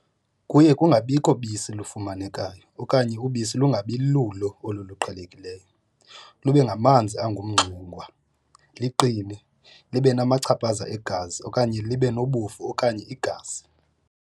Kuye kungabikho bisi lufumanekayo okanye ubisi lungabi lulo oluqhelelekileyo lube ngamanzi angumngxengwa, liqine libe namachaphaza egazi okanye libe nobofu okanye igazi.